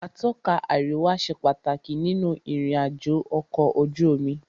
Atọ́ka àríwá ṣe pàtàkì nínú ìrìn àjò ọ̀kọ̀ ojú omi.